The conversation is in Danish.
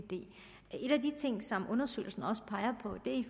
en af de ting som undersøgelsen også peger på